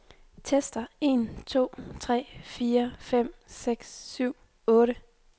Tester en to tre fire fem seks syv otte.